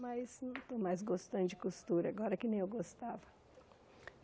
Mas não estou mais gostando de costura, agora que nem eu gostava.